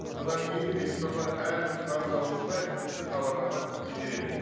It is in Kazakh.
содан кейін кредиторлар әрбір қарыз алушыға тиісті хабарлама жібереді